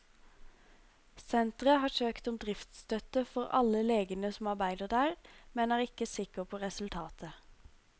Senteret har søkt om driftsstøtte for alle legene som arbeider der, men er ikke sikker på resultatet.